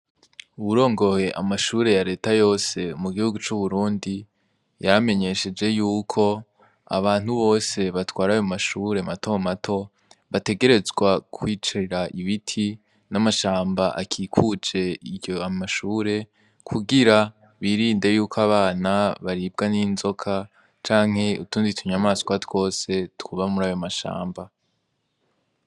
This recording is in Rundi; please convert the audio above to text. Uwurongoye amashure ya leta yose mu gihugu c'uburundi yamenyesheje yuko abantu bose batwaraye mumashure mato mato bategerezwa kwicarira ibiti n'amashamba akikuce iryo amashure kugira birinde yuko abana baribwa n'inzo soka canke utundi i tunyamaswa twose twuba muri ayo mashamba.